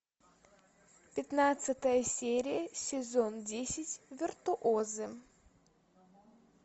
пятнадцатая серия сезон десять виртуозы